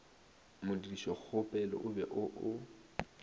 modirišokgopelo o be o o